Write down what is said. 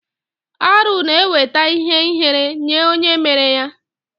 Arụ na eweta ihe ihere nye onye mere ya.